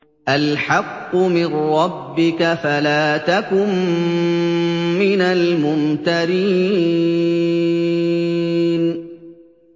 الْحَقُّ مِن رَّبِّكَ فَلَا تَكُن مِّنَ الْمُمْتَرِينَ